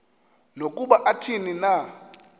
nokuba athini na